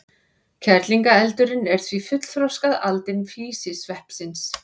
Kerlingareldurinn er því fullþroskað aldin físisveppsins.